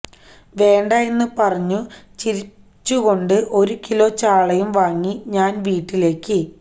വേണ്ടാ എന്ന് പറഞ്ഞു ചിരിച്ചു കൊണ്ട് ഒരു കിലോ ചാളയും വാങ്ങി ഞാന് വീട്ടിലേക്ക്